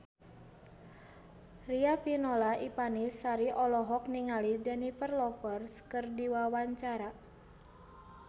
Riafinola Ifani Sari olohok ningali Jennifer Lopez keur diwawancara